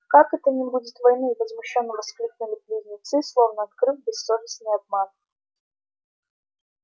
как это не будет войны возмущённо воскликнули близнецы словно открыв бессовестный обман